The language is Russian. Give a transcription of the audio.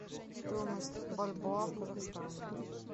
стоимость бальбоа в казахстане